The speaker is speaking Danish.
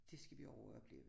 Dét skal vi over og opleve